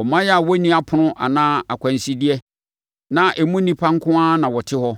“ɔman a wɔnni apono anaa akwansideɛ, na emu nnipa nko ara na wɔte hɔ.